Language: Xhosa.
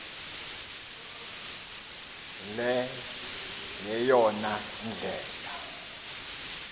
le yeyona ndlela